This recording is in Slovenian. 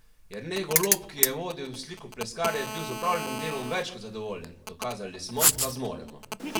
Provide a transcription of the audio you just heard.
Jernej Golob, ki je vodil slikopleskarje, je bil z opravljenim delom več kot zadovoljen: "Dokazali smo, da zmoremo.